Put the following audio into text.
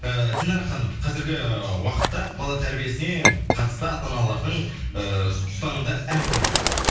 ііі динара ханым қазіргі уақытта бала тәрбиесіне қатысты ата аналардың ыыы ұстанымдары әртүрлі